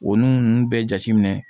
O nu nunnu bɛɛ jate minɛ